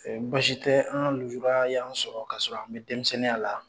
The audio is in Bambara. Ɛɛ basi tɛ an ka lujura y'an sɔrɔ ka sɔrɔ an be denmisɛnninya la.